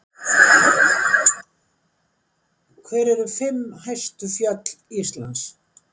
hver eru fimm hæstu fjöll íslands